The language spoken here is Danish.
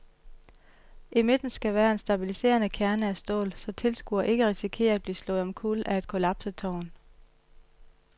I midten skal være en stabiliserende kerne af stål, så tilskuere ikke risikerer at blive slået omkuld af et kollapset tårn.